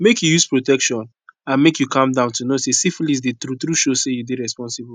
make you use protection andmake you calm down to know say syphilis dey true true show say you dey responsible